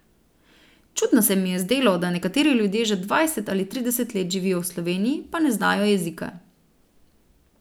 Čudno se mi je zdelo, da nekateri ljudje že dvajset ali trideset let živijo v Sloveniji, pa ne znajo jezika.